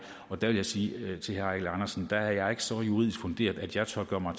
og der vil jeg sige til herre eigil andersen at der er jeg ikke så juridisk funderet at jeg tør gøre mig